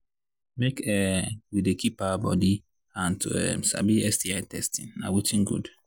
make um we they keep our body and to um sabi sti testing na watin good